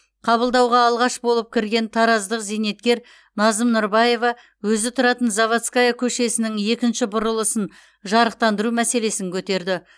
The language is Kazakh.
қабылдауға алғаш болып кірген тараздық зейнеткер назым нұрбаева өзі тұратын заводская көшесінің екінші бұрылысын жарықтандыру мәселесін көтерді